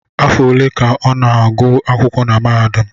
Afọ ole ka a na-agụ akwụkwọ na mahadum?